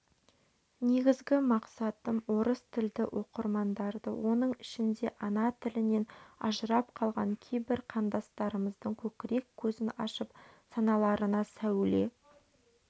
негізгі мақсатым орыс тілді оқырмандарды оның ішінде ана тілінен ажырап қалған кейбір қандастарымыздың көкірек көзін ашып саналарына сәуле